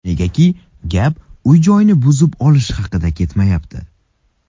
Negaki gap uy-joyni buzib olish haqida ketmayapti.